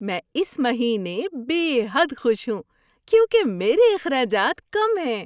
میں اس مہینے بے حد خوش ہوں کیونکہ میرے اخراجات کم ہیں۔